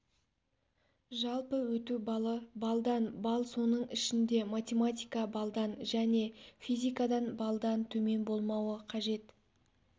жалпы өту балы балдан бал соның ішінде математика балдан және физикадан балдан төмен болмауы қажет